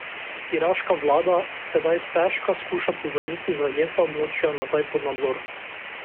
Iraška vlada si sedaj stežka skuša povrniti zajeta območja nazaj pod nadzor.